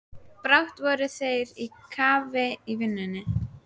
Brátt voru þeir á kafi í vinnunni.